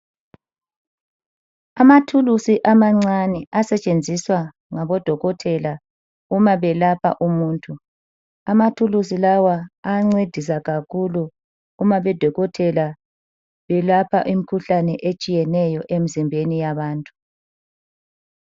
Amathulusi amancane asetshenziswa ngabodokotela umabelapha umuntu. Amathuluzi lawa ayancedisa kakhulu uma odokotela beyelapha imikhuhlane etshiyeneyo emzimbeni yabantu.